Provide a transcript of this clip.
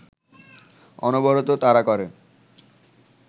অনবরত তাড়া করে